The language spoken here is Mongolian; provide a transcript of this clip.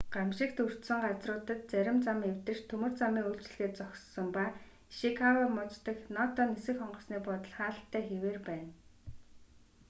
гамшигт өртсөн газруудад зарим зам эвдэрч төмөр замын үйлчилгээ зогссон ба ишикава муж дах ното нисэх онгоцны буудал хаалттай хэвээр байна